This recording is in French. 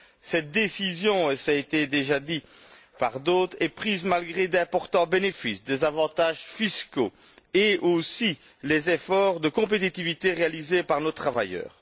Cette décision, et cela a déjà été dit par d'autres, est prise malgré d'importants bénéfices, des avantages fiscaux et, aussi, les efforts de compétitivité réalisés par nos travailleurs.